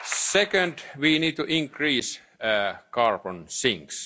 during the Presidency. Second, we need